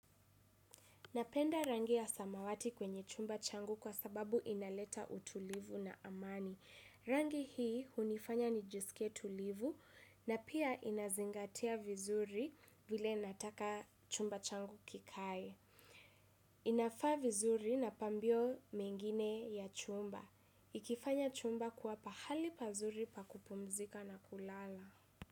Napenda rangi ya samawati kwenye chumba changu kwa sababu inaleta utulivu na amani. Rangi hii hunifanya nijisike tulivu na pia inazingatia vizuri vile nataka chumba changu kikae. Inafaa vizuri na pambio mengine ya chumba. Ikifanya chumba kwa pahali pazuri pakupumzika na kulala.